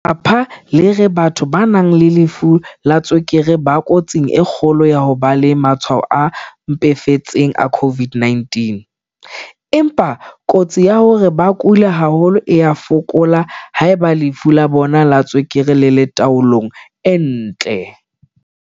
Lefapha le re batho ba nang le lefu la tswekere ba kotsing e kgolo ya ho ba le matshwao a mpefetseng a COVID-19, empa kotsi ya hore ba kule haholo e a fokola haeba lefu la bona la tswekere le le tao-long e ntle.